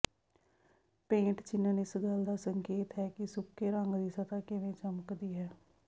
paint ਚਿਨਨ ਇਸ ਗੱਲ ਦਾ ਸੰਕੇਤ ਹੈ ਕਿ ਸੁੱਕੇ ਰੰਗ ਦੀ ਸਤ੍ਹਾ ਕਿਵੇਂ ਚਮਕਦੀ ਹੈ